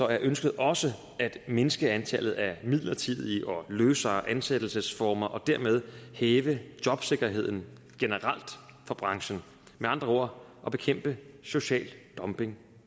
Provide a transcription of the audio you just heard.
er ønsket også at mindske antallet af midlertidige og løsere ansættelsesformer og dermed hæve jobsikkerheden generelt i branchen med andre ord at bekæmpe social dumping